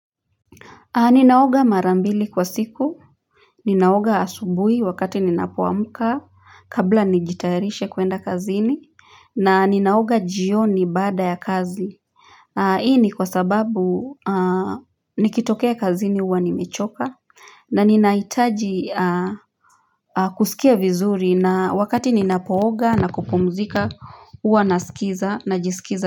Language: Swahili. Ninaoga mara mbili kwa siku Ninaoga asubui wakati ninapoamka kabla nijitayarishe kuenda kazini na ninaoga jioni baada ya kazi hii ni kwa sababu nikitokea kazini huwa nimechoka na ninahitaji kusikia vizuri na wakati ninapooga na kupumzika huwa nasikiza na jisikiza.